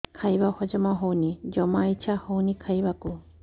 ଖାଇବା ହଜମ ହଉନି ଜମା ଇଛା ହଉନି ଖାଇବାକୁ